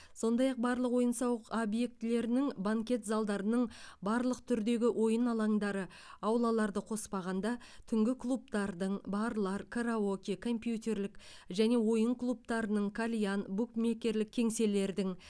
сондай ақ барлық ойын сауық объектілерінің банкет залдарының барлық түрдегі ойын аландары аулаларды қоспағанда түнгі клубтардың барлар караоке компьютерлік және ойын клубтарының кальян букмекерлік кеңселердің